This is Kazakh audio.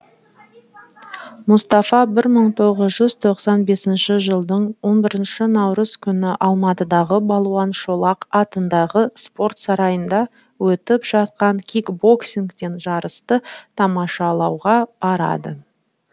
мұстафа бір мың тоғыз ж з тоқсан бесінші жылдың он бірінші наурыз күні алматыдағы балуан шолақ атындағы спорт сарайында өтіп жатқан кикбоксингтен жарысты тамашалауға барады